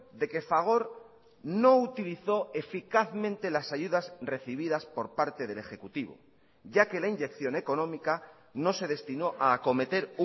de que fagor no utilizó eficazmente las ayudas recibidas por parte del ejecutivo ya que la inyección económica no se destinó a acometer